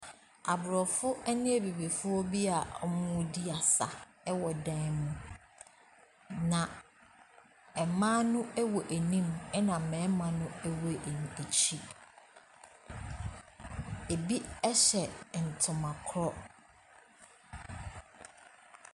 Aborɔfo ɛne abibifoɔ bi a ɔmo di asa ɛwɔ dan mu na ɛmaa no ɛwɔ anim na mɛɛma no ɛwɔ akyi. Ebi ɛhyɛ ntoma korɔ.